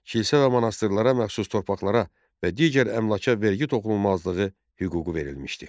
Kilsə və monastırlara məxsus torpaqlara və digər əmlaka vergi toxunulmazlığı hüququ verilmişdi.